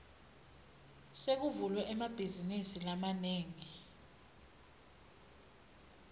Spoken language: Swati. sekuvulwe emabhazinisi lamanengi